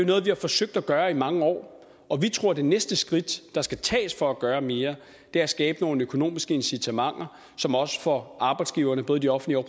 noget vi har forsøgt at gøre i mange år og vi tror det næste skridt der skal tages for at gøre mere er at skabe nogle økonomiske incitamenter som også får arbejdsgiverne både de offentlige og